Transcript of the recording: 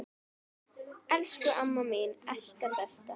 Elsku amma mín Esta besta.